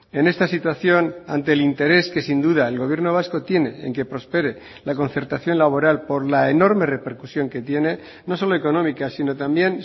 en esta situación ante el interés que sin duda el gobierno vasco tiene en que prospere la concertación laboral por la enorme repercusión que tiene no solo económica sino también